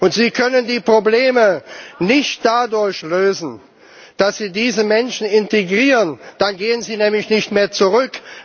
Und Sie können die Probleme nicht dadurch lösen, dass Sie diese Menschen integrieren, dann gehen sie nämlich nicht mehr zurück.